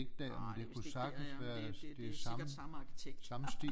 Ah det er vist ikke der ja det det det er sikkert samme arkitekt